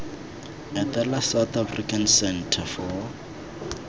etela south african centre for